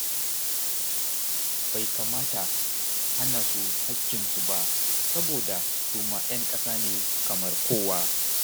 Bai kamata a hana su haƙƙinsu ba saboda su ma 'yan ƙasa ne kamar kowa.